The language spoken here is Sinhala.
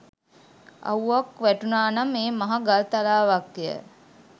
අව්වක් වැටුණා නම් ඒ මහ ගල්තලාවක්ය